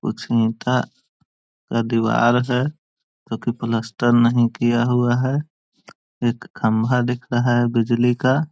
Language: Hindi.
कुछ ईटा और दीवार है जो कि पलस्तर नहीं किया हुआ है एक खम्बा दिख रहा है बिजली का।